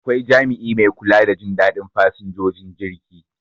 Akwai jami'i mai kula da Jin dadin fasinjojin jirgi